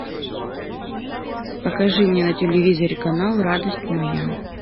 покажи мне на телевизоре канал радость моя